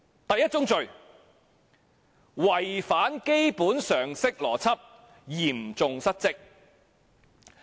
第一宗罪：違反基本常識邏輯，嚴重失職。